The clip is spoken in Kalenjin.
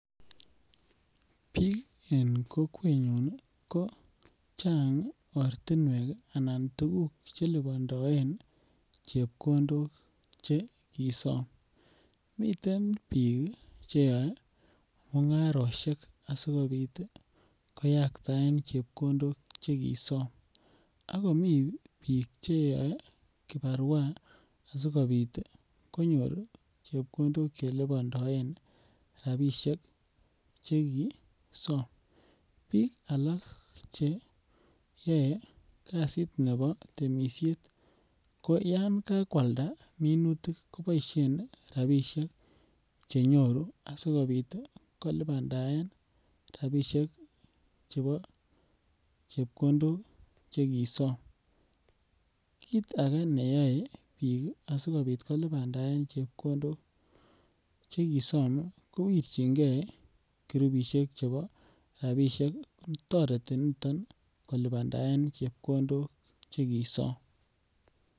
Biik en kokwenyun ko Chang ortinwek ii anan tuguk che lipondoen chepkondok che kisome miten biik che yoe mungaroshek asikopit ii koyagtaen chepkondok chekisom Ako biik che yoe kibarwa asikopit konyor chepkondok che lipondoen rabishek che kisom, biik alak che yoe kazit nebo temisiet ko Yan ka kwalda minutik kiboishen rabishek chenyoru asikopit kolipandaen rabishek chebo chepkondok che kisom, kit age neyoe biik ii asikopit kolipandaen chepkondok che kisom ko wirjigee kurupishek chebo rabishek toreti niton kolipandaen chepkondok chekisom